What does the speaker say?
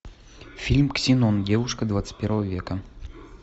фильм ксенон девушка двадцать первого века